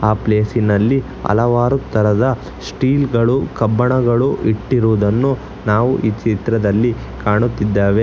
ಆ ಪ್ಲೇಸಿನಲ್ಲಿ ಹಲವಾರು ತರ ಸ್ಟೀಲ್ ಗಳು ಕಬ್ಬಿಣಗಳು ಇಟ್ಟಿರುವುದನ್ನು ನಾವು ಈ ಚಿತ್ರದಲ್ಲಿ ಕಾಣುತ್ತಿದ್ದೇವೆ.